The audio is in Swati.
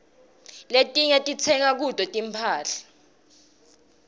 letiinye sitsenga kuto tinphahla